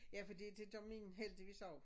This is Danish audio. Ja fordi det gør min heldigvis også